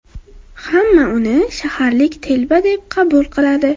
Hamma uni shaharlik telba deb qabul qiladi.